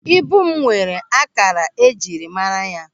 Ibu m nwere ákàkà ejiri mara ya.